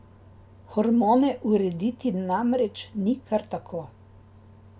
Hormone urediti namreč ni kar tako.